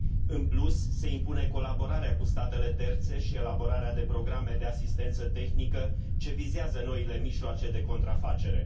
În plus, se impune colaborarea cu statele terțe și elaborarea de programe de asistență tehnică ce vizează noile mijloace de contrafacere.